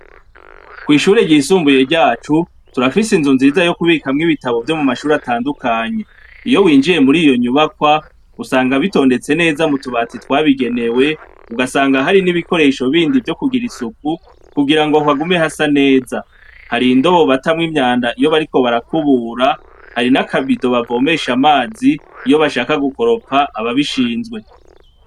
kwishure ryisumbuye ryacu turafise inzu nziza yo kubika mw'ibitabo byo mu mashuri atandukanye iyo winjiye muri iyo nyubakwa usanga bitondetse neza mu tubatsi twabigenewe ugasanga hari n'ibikoresho bindi byo kugira isuku kugira ngo hagume hasa neza hari indobo batamw imyanda iyo bariko barakubura hari n'akabido babomeshe amazi iyo bashaka gukoropfa aba bishinzwe